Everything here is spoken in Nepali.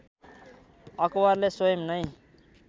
अकबरले स्वयम् नैं